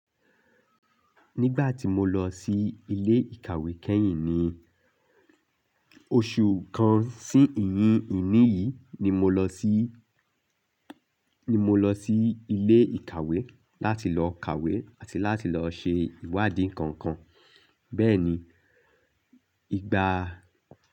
Nígbà tí mo lọ sí ilé ìkàwé kẹ́yìn ni, oṣù kan sí ìyín ìní yìí ni mo lọ sí, ni mo lọ sí ilé ìkàwé láti lọ kàwé àti láti lọ ṣe ìwádìí kọ̀ọ̀kan. Bẹ́ẹ̀ ni, ìgbà.